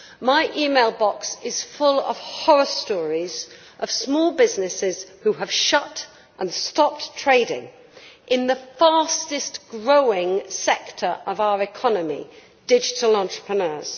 My email box is full of horror stories of small business which have shut and stopped trading in the fasting growing sector of our economy digital entrepreneurs.